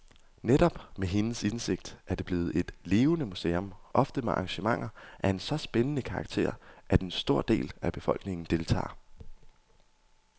Netop med hendes indsigt er det blevet et levende museum, ofte med arrangementer af så spændende karakter, at en stor del af befolkningen deltager.